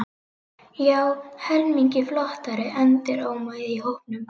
Já, helmingi flottari, endurómaði í hópnum.